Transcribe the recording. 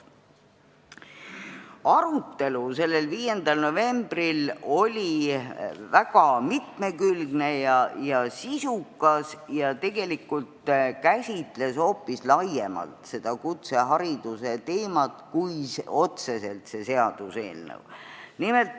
Arutelu oli 5. novembril väga mitmekülgne ja sisukas ning seal käsitleti kutsehariduse teemat tegelikult hoopis laiemalt, mitte otseselt ainult seda seaduseelnõu.